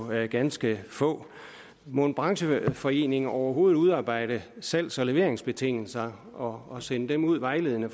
med ganske få må en brancheforening overhovedet udarbejde salgs og leveringsbetingelser og og sende dem ud vejledende